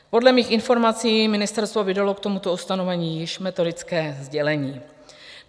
Podle mých informací ministerstvo vydalo k tomuto ustanovení již metodické sdělení.